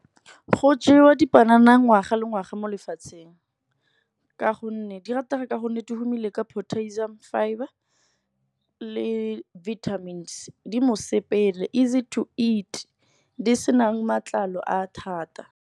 Go jewa dipanana ngwaga le ngwaga mo lefatsheng. Di ratega ka gonne tumile ka potassium fibre le vitamins. Di mosepele easy to eat, di senang matlalo a thata.